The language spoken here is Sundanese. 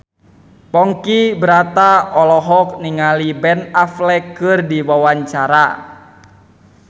Ponky Brata olohok ningali Ben Affleck keur diwawancara